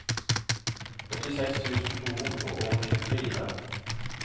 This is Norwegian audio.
åttiseks tusen to hundre og tjuefire